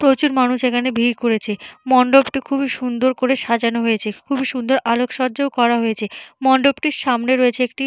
প্রচুর মানুষ এইখানে ভিড় করেছে। মণ্ডপটি খুবই সুন্দর করে সাজানো হয়েছে। খুবই সুন্দর আলোকসজ্জা রয়েছে। মণ্ডপটির সামনে রয়েছে একটি --